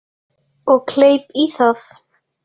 Og kleip í það.